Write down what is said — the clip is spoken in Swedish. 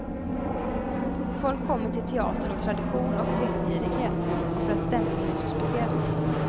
Folk kommer till teatern av tradition och vetgirighet, och för att stämningen är så speciell.